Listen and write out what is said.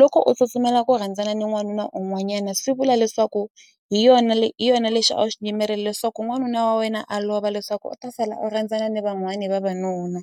loko u tsutsumela ku rhandzana ni n'wanuna un'wanyana swi vula leswaku hi yona hi yona lexi a xi yimerile swa ku n'wanuna wa wena a lova leswaku u ta sala u rhandzana ni van'wani vavanuna.